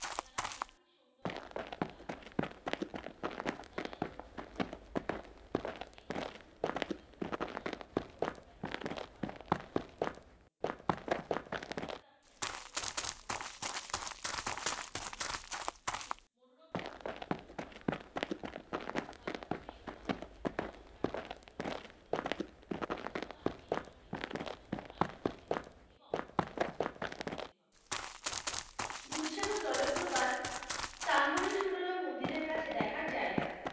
দুধসাগর জলপ্রপাত তাম্বরি সুরলা মন্দিরের কাছে দেখার জায়গা,